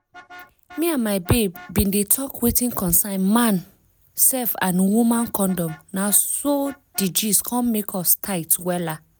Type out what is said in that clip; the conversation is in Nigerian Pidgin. me and my babe bin dey talk wetin concern man sef and woman condom na so di gist come make us tight wella